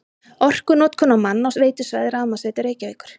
Orkunotkun á mann á veitusvæði Rafmagnsveitu Reykjavíkur